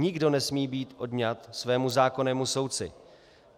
Nikdo nesmí být odňat svému zákonnému soudci.